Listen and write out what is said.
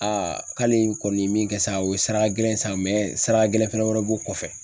Aa k'ale kɔni ye min kɛ sa o ye sara gɛlɛn sa, sara gɛlɛn fɛnɛ wɛrɛ b'o kɔfɛ.